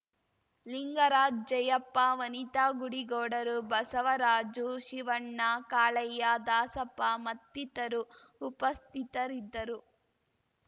ಲಿಂಗರಾಜ್ ಜಯಪ್ಪ ವನಿತಾ ಗುಡಿ ಗೌಡರು ಬಸವರಾಜು ಶಿವಣ್ಣ ಕಾಳಯ್ಯ ದಾಸಪ್ಪ ಮತ್ತಿತರು ಉಪಸ್ಥಿತರಿದ್ದರು